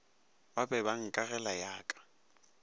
be ba nkagela ya ka